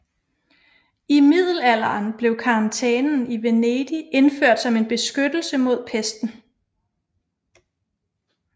I middelalderen blev karantænen i Venedig indført som en beskyttelse mod pesten